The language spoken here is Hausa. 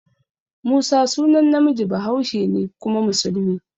Musa sunan namiji bahaushe ne kuma musulmi.